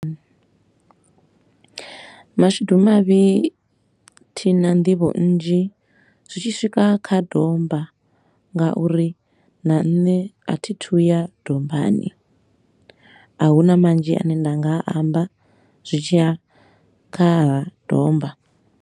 Mashudu mavhi thi na nḓivho nnzhi zwi tshi swika kha domba, ngauri na nṋe a thi thu ya dombani. A hu na manzhi a ne nda nga a amba zwi ya kha ha domba.